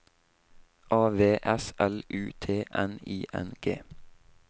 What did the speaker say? A V S L U T N I N G